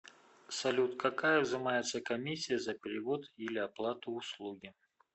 салют какая взимается комиссия за перевод или оплату услуги